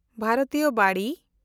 ᱵᱷᱟᱨᱚᱛᱤᱭᱚ ᱵᱟᱲᱤ